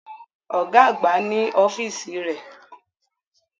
Ọ̀gá àgbà ni ọ́fíìsì rẹ̀